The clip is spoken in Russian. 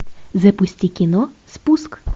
запусти кино спуск